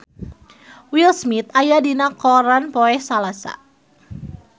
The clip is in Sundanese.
Will Smith aya dina koran poe Salasa